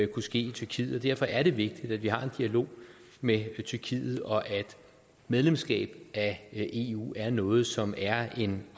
kunne ske i tyrkiet og derfor er det vigtigt at vi har en dialog med tyrkiet og at medlemskab af eu er noget som er en